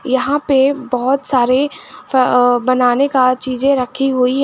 यहां पे बहुत सारे बनाने का चीजें रखी हुई है।